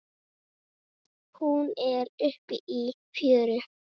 Hún er uppi í fjöru.